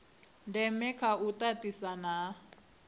ndeme kha u tatisana ha